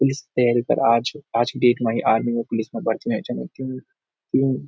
पुलिस तैयरी कर आज आज की डेट मा इ आर्मी और पुलिस मा भर्ती हुंया छन ये क्यू क्यूं।